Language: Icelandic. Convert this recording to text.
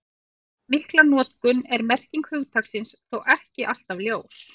Þrátt fyrir mikla notkun er merking hugtaksins þó ekki alltaf ljós.